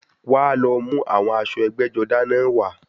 Wá lọ mú àwọn aṣọ ẹgbẹ́-jọdá náà wá.